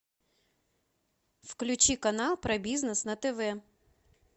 включи канал про бизнес на тв